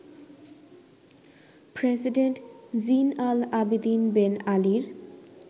president Zine al-Abidine Ben আলির